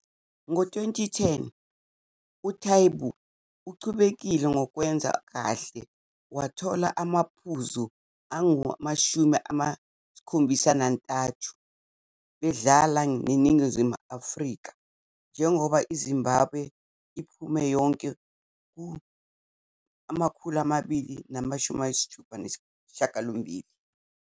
Ngo-2010 uTaibu uqhubekile nokwenza kahle wathola amaphuzu angu-73 bedlala neNingizimu Afrika njengoba iZimbabwe iphume yonke ku-268.